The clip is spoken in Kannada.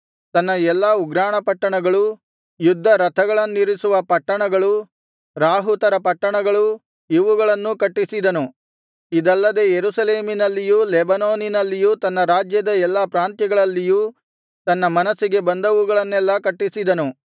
ತನ್ನ ಎಲ್ಲಾ ಉಗ್ರಾಣ ಪಟ್ಟಣಗಳು ಯುದ್ಧ ರಥಗಳನ್ನಿರಿಸುವ ಪಟ್ಟಣಗಳು ರಾಹುತರ ಪಟ್ಟಣಗಳು ಇವುಗಳನ್ನೂ ಕಟ್ಟಿಸಿದನು ಇದಲ್ಲದೆ ಯೆರೂಸಲೇಮಿನಲ್ಲಿಯೂ ಲೆಬನೋನಿನಲ್ಲಿಯೂ ತನ್ನ ರಾಜ್ಯದ ಎಲ್ಲಾ ಪ್ರಾಂತ್ಯಗಳಲ್ಲಿಯೂ ತನ್ನ ಮನಸ್ಸಿಗೆ ಬಂದವುಗಳನ್ನೆಲ್ಲಾ ಕಟ್ಟಿಸಿದನು